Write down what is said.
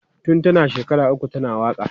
Tun tana shekara uku tana waka.